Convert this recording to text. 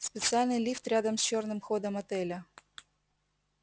специальный лифт рядом с чёрным ходом отеля